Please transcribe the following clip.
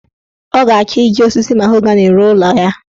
Ọ ga-achọ iji osisi mahogani rụọ ụlọ ya.